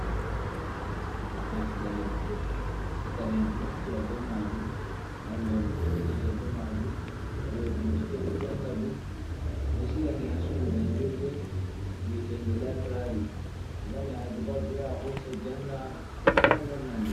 Deftere. Pukara'en ɗo naftira be maajum, mallu'en ɗo huwutira be maajum, waɗooɓe bincike ɗo janga ɗum. Ɓe ɗo siga ni haa suudu jangirde wi'etende laybrari, mo waɗi haaje pat ɗo ya hosa janga, ɗo lorna nde.